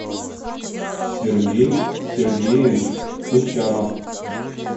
сергей сергеевич учанов